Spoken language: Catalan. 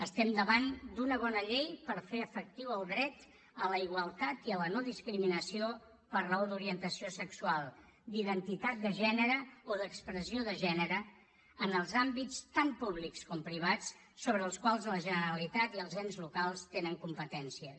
estem davant d’una bona llei per fer efectiu el dret a la igualtat i la no discriminació per raó d’orientació sexual d’identitat de gènere o d’expressió de gènere en els àmbits tant públics com privats sobre els quals la generalitat i els ens locals tenen competències